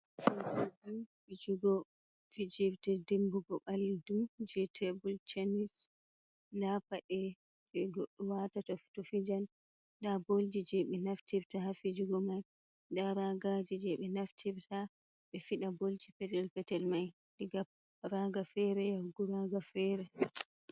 Bolji fijugo fijirde dimmbugo ɓalli du jey tebul tenis, ndaa paɗe jey goɗɗo waatata to fijan, ndaa bolji jey ɓe naftirta haa fijugo may, ndaa raagaaji jey ɓe naftirta ɓe fiɗa bolji petel-petel may diga paaga feere yahu graaga feere.